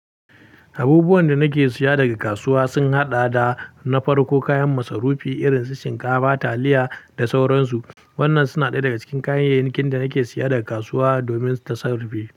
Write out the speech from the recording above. Abubuwan da nake siya daga kasuwa sun haɗa da na farko kayan masarufi irin su shinkafa, taliya da sauransu. Wannan suna ɗaya daga cikin kayayyakin da nake siya daga kasuwa domin tasarrufi.